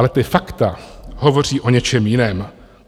Ale ta fakta hovoří o něčem jiném.